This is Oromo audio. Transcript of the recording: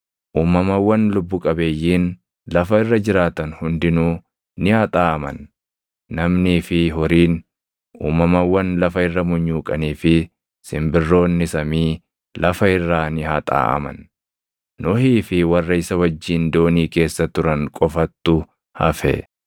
Uumamawwan lubbu qabeeyyiin lafa irra jiraatan hundinuu ni haxaaʼaman; namnii fi horiin, uumamawwan lafa irra munyuuqanii fi simbirroonni samii, lafa irraa ni haxaaʼaman. Nohii fi warra isa wajjin doonii keessa turan qofattu hafe.